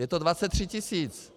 Je to 23 tisíc.